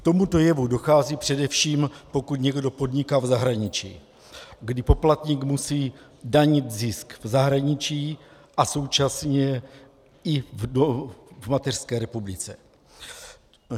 K tomuto jevu dochází především, pokud někdo podniká v zahraničí, kdy poplatník musí danit zisk v zahraničí a současně i v mateřské republice.